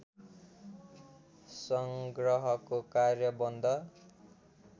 सङ्ग्रहको कार्य बन्द